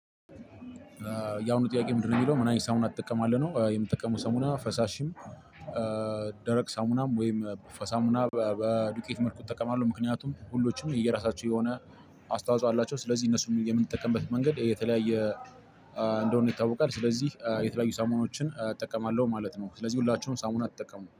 ያሁኑ ጥያቄ ምንድነው? የሚለው ምን አይነት ሳሙና ትጠቀማለህ ነው የምጠቀመው ሳሙና ፈሳሽም ደረቅ ሳሙናም ወይም ፈሳሙና በዱቄት መልኩ እጠቀማለሁ። ምክንያቱም ሁሎችም የየራሳቸው የሆነ አስተዋጽኦ አላቸው። ስለዚህ እነሱ የምንጠቀምበት መንገድ የተለያየ እንደሆነ ይታወቃል። ስለዚህ የተለያዩ ሳሙናዎችን እጠቀማለሁ ማለት ነው። ስለዚህ ሁላችሁም ሳሙና ተጠቀሙ